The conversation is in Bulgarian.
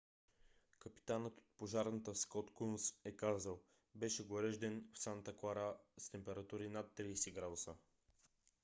капитанът от пожарната скот кунс е казал: беше горещ ден в санта клара с температури над 30 градуса